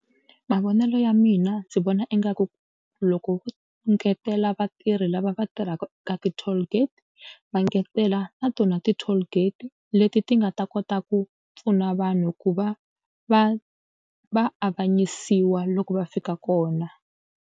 Mavonelo ya mina ndzi vona ingaku loko engetela vatirhi lava va tirhaka eka ti-tollgate va engetela na tona ti-tollgate leti ti nga ta kota ku pfuna vanhu ku va va va avanyisiwa loko va fika kona.